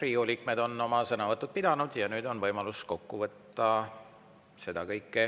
Riigikogu liikmed on oma sõnavõtud pidanud ja nüüd on võimalus seda kõike kokku võtta.